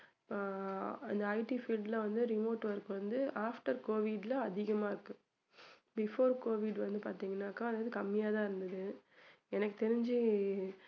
ஆஹ் அந்த IT field ல வந்து remote work வந்து after covid ல அதிகமா இருக்கு before covid வந்து பாத்தீங்கன்னாக்க அது கம்மியா தான் இருந்தது எனக்கு தெரிஞ்சு